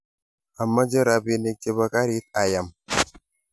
Amache rapinik che bo karit ayam